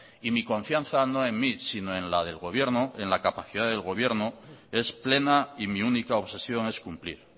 y mi confianza no en mí sino en la del gobierno en la capacidad del gobierno es plena y mi única obsesión es cumplir